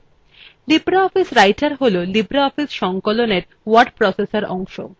libreoffice writer হল libreoffice সংকলনের word processor অংশ